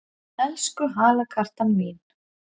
Elsku halakartan mín!